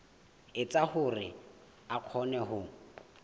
etsa hore a kgone ho